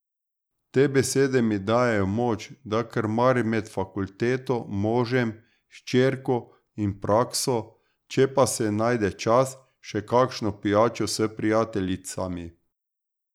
Te besede mi dajejo moč, da krmarim med fakulteto, možem, hčerko in prakso, če pa se najde čas, še kakšno pijačo s prijateljicami.